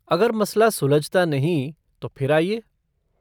अगर मसला सुलझता नहीं, तो फिर आइए।